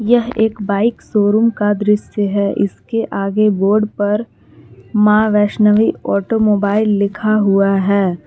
यह एक bike showroom का दृश्य है इसके आगे बोर्ड पर मां वैष्णवी ऑटोमोबाइल लिखा हुआ है।